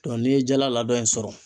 Dɔn n'i ye jala ladɔn in sɔrɔ